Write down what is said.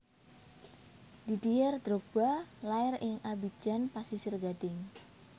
Didier Drogba lair ing Abidjan Pasisir Gading